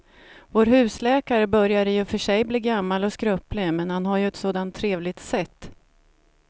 Vår husläkare börjar i och för sig bli gammal och skröplig, men han har ju ett sådant trevligt sätt!